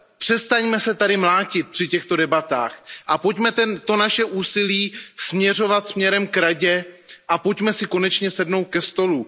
přestaňme se tady mlátit při těchto debatách a pojďme to naše úsilí směřovat k Radě a pojďme si konečně sednout ke stolu.